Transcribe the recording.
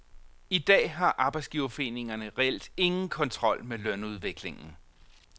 I dag har arbejdsgiverforeningerne reelt ingen kontrol med lønudviklingen.